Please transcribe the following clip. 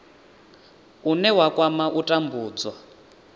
une wa kwama u tambudzwa